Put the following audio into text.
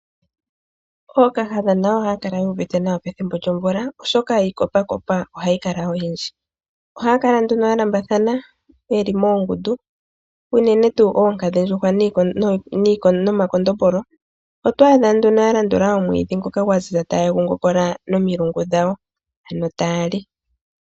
Ookahadha nayo ohaya kala yuuvite nawa pethimbo lyomvula , oshoka iikopakopa ohayi kala oyindji. Ohaya kala nduno yalambathana , yeli moongundu unene tuu oonkadhindjuhwa nomakondombolo. Otwaadha nduno ya landula omwiidhi ngono gwaziza , taye gu ngopola nomilungu ano taya li.